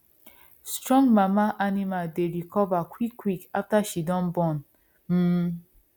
strong mama animal dey recover quick quick after she don born um